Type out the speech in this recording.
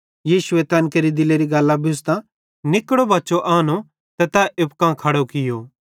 यीशु तैन केरि दिलेरी गल्लां बुझ़तां निकड़ो बच्चो आनो ते तै एप्पू कां खड़ू कियूं